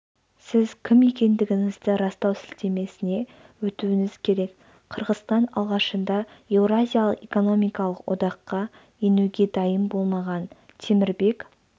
сіз кім екендігіңізді растау сілтемесіне өтуіңіз керек қырғызстан алғашында еуразиялық экономикалық одаққа енуге дайын болмаған темірбек